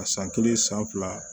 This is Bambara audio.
A san kelen san fila